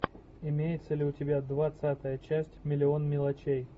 имеется ли у тебя двадцатая часть миллион мелочей